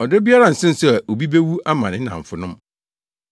Ɔdɔ biara nsen sɛ obi bewu ama ne nnamfonom.